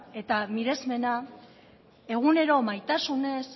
eta miresmena egunero maitasunez